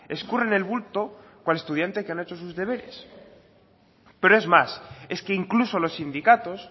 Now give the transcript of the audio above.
escurren el bulto cual estudiante que no ha hecho sus deberes pero es más es que incluso los sindicatos